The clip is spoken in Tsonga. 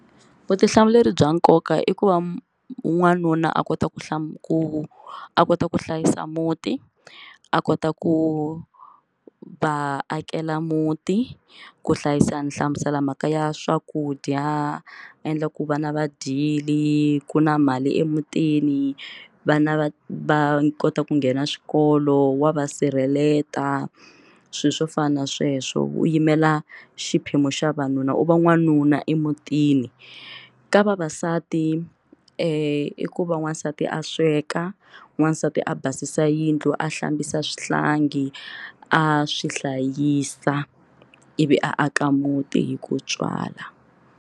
Vutihlamuleri bya nkoka i ku va n'wanuna a kota ku hlaya ku a kota ku hlayisa muti a kota ku va akela muti ku hlayisa ni hlamusela mhaka ya swakudya endla ku vana va dyile ku na mali emutini vana va va kota ku nghena swikolo wa va sirheleta swilo swo fana na sweswo u yimela xiphemu xa vanuna u va n'wanuna emutini ka vavasati i ku va wansati a sweka n'wansati a basisa yindlu a hlambisa swihlangi a swi hlayisa i vi a aka muti hi ku tswala.